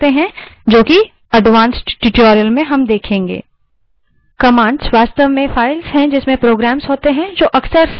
काफी तरीके हैं जिससे हम अलगअलग shells को सक्रिय कर सकते हैं जो कि उन्नत tutorial advanced tutorials में देखेंगे